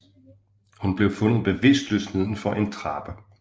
Hun blev fundet bevidstløs nedenfor en trappe